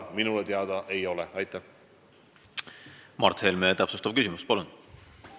Mart Helme, täpsustav küsimus, palun!